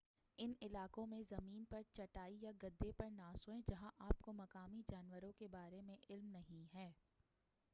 ان علاقوں میں زمین پر چٹائی یا گدے پر نہ سوئیں جہاں آپ کو مقامی جانوروں کے بارے میں علم نہیں ہے